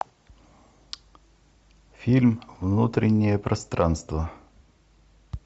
фильм внутреннее пространство